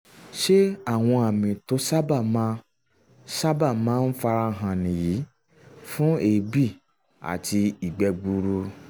ṣé àwọn àmì tó sábà máa sábà máa ń fara hàn nìyí fún èébì àti ìgbẹ́ gbuuru?